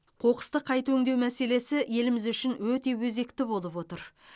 қоқысты қайта өңдеу мәселесі еліміз үшін өте өзекті болып отыр